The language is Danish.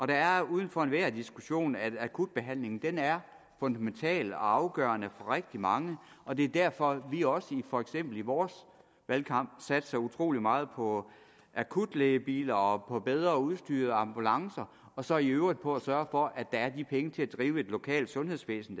det er er uden for enhver diskussion at akutbehandlingen er fundamental og afgørende for rigtig mange og det er derfor at vi også for eksempel i vores valgkamp satser utrolig meget på akutlægebiler og på bedre udstyrede ambulancer og så i øvrigt på at sørge for at der er de penge til at drive et lokalt sundhedsvæsen